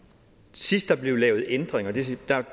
sidst der blev lavet ændringer da